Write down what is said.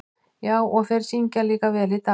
Já, og þeir syngja líka vel í dag.